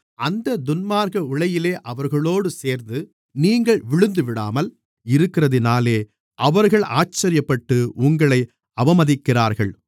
அந்தத் துன்மார்க்க உளையிலே அவர்களோடு சேர்ந்து நீங்கள் விழுந்துவிடாமல் இருக்கிறதினாலே அவர்கள் ஆச்சரியப்பட்டு உங்களை அவமதிக்கிறார்கள்